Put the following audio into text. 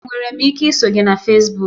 Enwere m ike iso gị na Fesbuk?